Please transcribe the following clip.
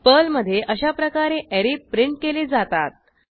पर्लमधे अशाप्रकारे array print केले जातात